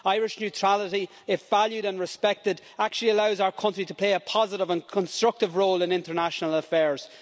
Irish neutrality, if valued and respected, actually allows our country to play a positive and constructive role in international affairs.